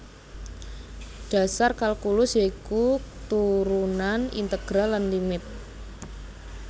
Dhasar kalkulus ya iku turunan integral lan limit